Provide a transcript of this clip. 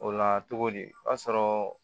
O la cogodi o b'a sɔrɔ